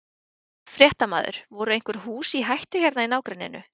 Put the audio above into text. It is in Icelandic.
Fréttamaður: Voru einhver hús í hættu hérna í nágrenninu?